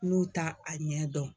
N'u t'a a ɲɛ dɔn.